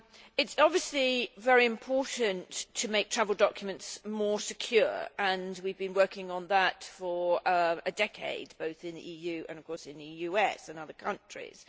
It is obviously very important to make travel documents more secure and we have been working on that for a decade both in the EU and of course in the US and other countries.